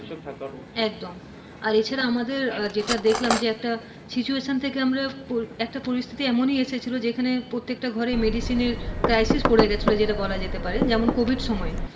preparation থাকাটা উচিত, একদম, এছাড়া আমাদের যেটা দেখলাম যে একটা situtation থেকে আমরা একটা পরিস্থিতি এমনই এসেছিলো যেখানে প্রত্যেকটা ঘরে medicine এর crisis পরে গিয়েছিলো বলা যেতে পারে যেমন covid সময়ে,